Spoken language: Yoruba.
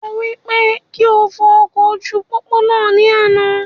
Mo wí pé kí o fọ ọkọ̀ ojú pópó náà ní àna